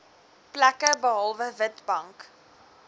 plekke behalwe witbank